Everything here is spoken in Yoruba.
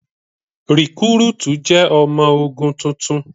Rìkrúùtù jẹ́ ọmọ ogun tuntun.